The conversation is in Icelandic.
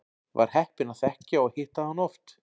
Var heppinn að þekkja og hitta hann oft.